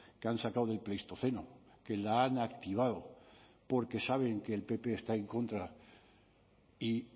que han sacado del pleistoceno que la han activado porque saben que el pp está en contra y